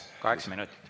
Kaheksa minutit.